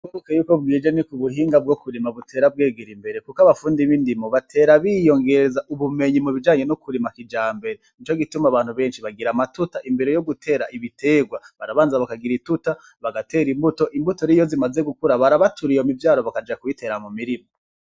Uko bukeye uko bwije niko ubuhinga bw'okurima butera bwegera imbere kuko abafundi b'indimo batera biyongeza ubumenyi m'ubijanye no kurima kijambere nicogituma abantu beshi bagira amatuta imbere yo gutera ibiterwa barabanza bakagira ituta bagatera mbuto rero iyo zimaze gukura barabatura iyo m'ivyaro bakaja kuyitera m'umirima.